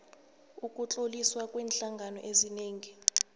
ukutloliswa kweenhlangano ezingenzi